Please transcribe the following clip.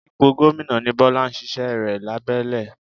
Ipò gómìnà ni Bọ́lá ń ṣíṣẹ́ rẹ̀ lábẹ́lẹ̀